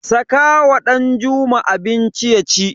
Saka wa Danjuma abinci yaci.